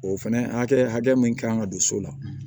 O fɛnɛ hakɛ hakɛ min kan ka don so la